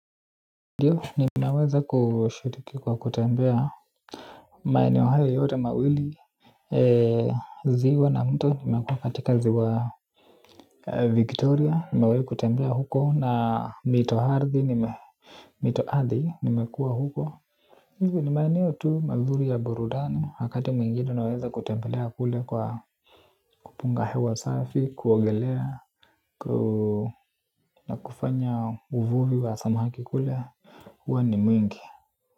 Ndio ninaweza kushiriki kwa kutembea maeneo hayo yote mawili ziwa na mto nimekuwa katika ziwa Victoria nimewai kutembea huko na nitaarthi nime nita ardhi nimekuwa huko hivo ni maeneo tu mazuri ya burudani wakati mwingini unaweza kutembelea kule kwa kupunga hewa safi kuongelea na kufanya uvuvi wa samaki kule huwa ni mwingi.